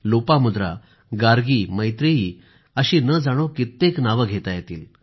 लोपामुद्रा गार्गी मैत्रेयी अशी न जाणो कित्येक नावं घेता येतील